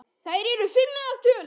Þær eru fimm að tölu.